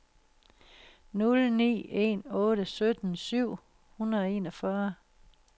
nul ni en otte sytten syv hundrede og enogfyrre